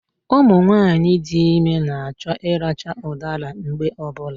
Ụmụnwaanyị dị ime na-achọ ịracha ụdara mgbe ọbụla